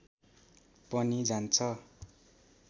पनि जान्छ